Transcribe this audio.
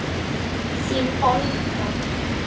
Þín Olga.